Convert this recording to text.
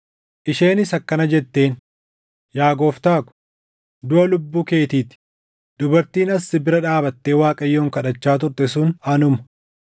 isheenis akkana jetteen; “Yaa gooftaa ko, duʼa lubbuu keetii ti; dubartiin as si bira dhaabattee Waaqayyoon kadhachaa turte sun anuma.